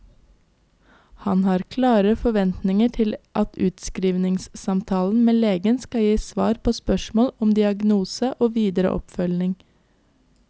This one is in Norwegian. Han har klare forventninger til at utskrivningssamtalen med legen skal gi svar på spørsmål om diagnose og videre oppfølging.